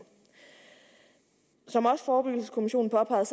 som også forebyggelseskommissionen påpegede